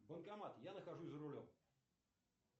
банкомат я нахожусь за рулем